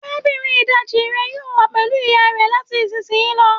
Arabinrin idaji rẹ yoo wa pẹlu iya rẹ lati isisiyi lọ